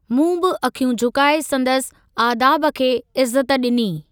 मूं बि अखियूं झुकाए संदसि 'आदाब' खे इज़त ॾिनी।